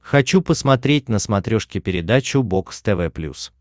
хочу посмотреть на смотрешке передачу бокс тв плюс